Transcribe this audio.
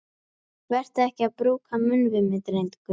Vertu ekki að brúka munn við mig, drengur!